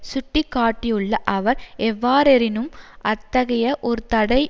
சுட்டி காட்டியுள்ள அவர் எவ்வாறெனினும் அத்தகைய ஒரு தடை